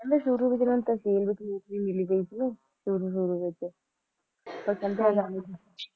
ਕਹਿੰਦੇ ਸ਼ੁਰੂ ਚ ਤਾਂ ਉਨ੍ਹਾਂ ਨੂੰ ਜੇਲ ਚ ਨੌਕਰੀ ਮਿਲੀ ਸੀ ਸ਼ੁਰੂ ਸ਼ੁਰੂ ਵਿੱਚ